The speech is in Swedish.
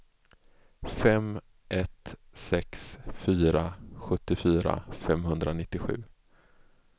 fem ett sex fyra sjuttiofyra femhundranittiosju